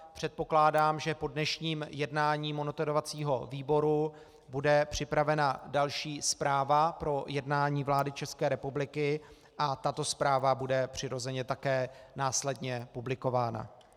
Předpokládám, že po dnešním jednání monitorovacího výboru bude připravena další zpráva pro jednání vlády České republiky, a tato zpráva bude přirozeně také následně publikována.